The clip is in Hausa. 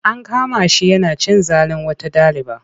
An kama shi yana cin zalin wata ɗaliba.